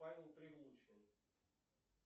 павел прилучный